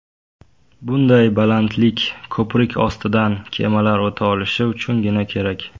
Bunday balandlik ko‘prik ostidan kemalar o‘ta olishi uchungina kerak.